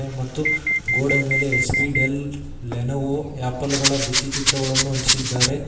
ಮತ್ತು ಗೋಡೆ ಮೇಲೆ ಎಚ್_ಪಿ ಡೆಲ್ ಲೆನೊವೊ ಯಾಪಲ್ ಗಳ ಬಿತ್ತಿ ಚಿತ್ರಗಳನ್ನು ಅಂಟಿಸಿದ್ದಾರೆ.